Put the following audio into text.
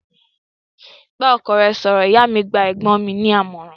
Bá ọkọ rẹ sọ̀rọ̀!, ìyá mi gba ẹ̀gbọ́n mi ní àmọ̀ràn